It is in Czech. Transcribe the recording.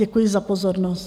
Děkuji za pozornost.